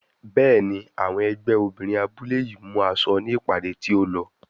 Bẹ́ẹ̀ni, àwọn ẹgbẹ́ obìnrin abúlé yìí mú aṣọ ní ìpàdé tí ó lọ.